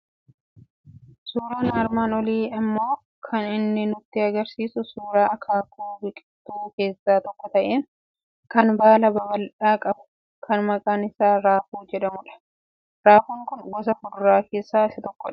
Suuraan armaan olii immoo kan inni nutti argisiisu suuraa akaakuu biqiltuu keessaa tokko ta'e, kan baala babal'aa qabu , kan maqaan isaa raafuu jedhamudha. Raafuun kun gosa fuduraa keessaa tokkodha.